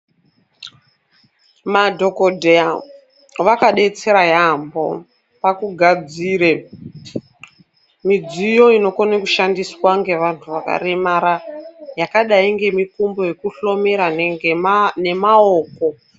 Madhokodheya vakadetsera yambo pakugadzira midziyo inokona kushandiswa nevakaremara yakadai nemikumbo yekuhlomera nemaoko.